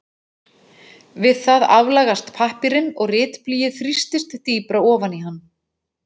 Við það aflagast pappírinn og ritblýið þrýstist dýpra ofan í hann.